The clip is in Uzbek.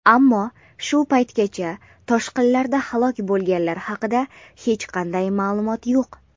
ammo shu paytgacha toshqinlarda halok bo‘lganlar haqida hech qanday ma’lumot yo‘q.